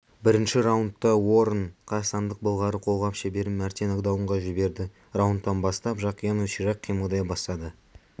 бірінші раундта уоррен қазақстандық былғары қолғап шеберін мәрте нокдаунға жіберді раундтан бастап жақиянов ширақ қимылдай бастады